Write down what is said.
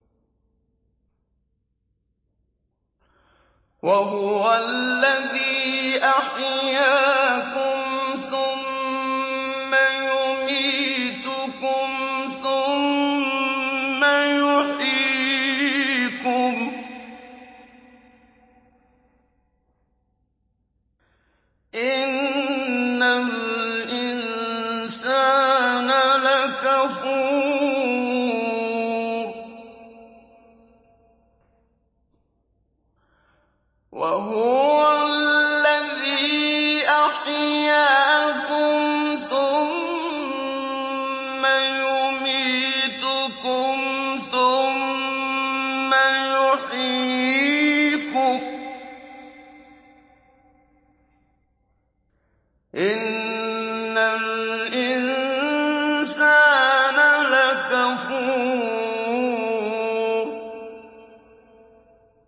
وَهُوَ الَّذِي أَحْيَاكُمْ ثُمَّ يُمِيتُكُمْ ثُمَّ يُحْيِيكُمْ ۗ إِنَّ الْإِنسَانَ لَكَفُورٌ